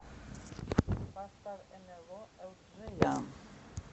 поставь нло элджея